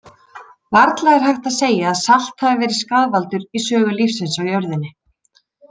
Varla er hægt að segja að salt hafi verið skaðvaldur í sögu lífsins á jörðinni.